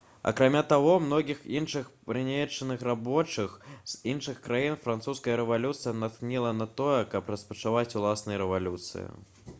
акрамя таго многіх іншых прыгнечаных рабочых з іншых краін французская рэвалюцыя натхніла на тое каб распачаць уласныя рэвалюцыі